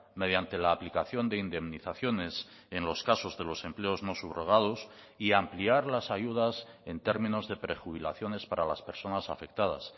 mediante la aplicación de indemnizaciones en los casos de los empleos no subrogados y ampliar las ayudas en términos de prejubilaciones para las personas afectadas